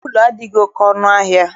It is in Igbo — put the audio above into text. Wuulu adịghị oke ọnụ ahịa.